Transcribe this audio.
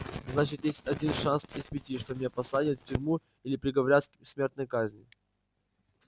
значит есть один шанс из пяти что меня посадят в тюрьму или приговорят к смертной казни